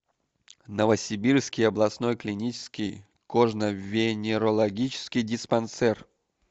новосибирский областной клинический кожно венерологический диспансер